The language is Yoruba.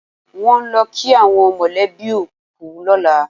Wọ́n ó lọ kí àwọn mọ̀lẹ́bí òkú lọ́la.